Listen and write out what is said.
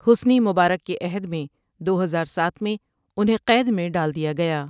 Hasani Mubarak کے عہد میں دو ہزار ساتھ میں انہیں قید میں ڈال دیا گیا ۔